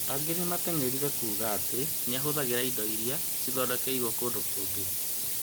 Angĩ nĩmateng'ereire kuga atĩ nĩahũthagĩra indo irĩa ciathondekeirwo kũndũ kũngĩ